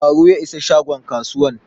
Ɗazu ya isa shagon kasuwan